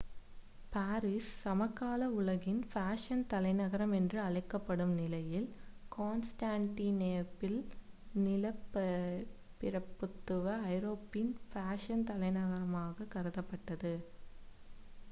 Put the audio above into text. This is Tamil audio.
பாரிஸ் சமகால உலகின் ஃபேஷன் தலைநகரம் என்று அழைக்கப்படும் நிலையில் கான்ஸ்டான்டினோப்பில் நிலப்பிரபுத்துவ ஐரோப்பாவின் ஃபேஷன் தலைநகராகக் கருதப்பட்டது